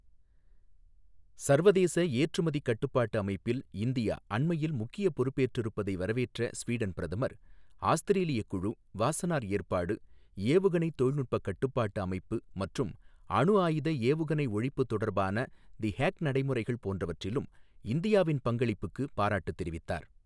சர்வதேச ஏற்றுமதிக் கட்டுப்பாட்டு அமைப்பில் இந்தியா அண்மையில் முக்கியப் பொறுப்பெற்றிருப்பதை வரவேற்ற ஸ்வீடன் பிரதமர், ஆஸ்திரேலியா குழு, வாஸனார் ஏற்பாடு, ஏவுகணைத் தொழில்நுட்பக் கட்டுப்பாட்டு அமைப்பு மற்றும் அணுஆயுத ஏவுகணை ஒழிப்பு தொடர்பான தி ஹேக் நடைமுறைகள் போன்றவற்றிலும் இந்தியாவின் பங்களிப்புக்குப் பாராட்டு தெரிவித்தார்.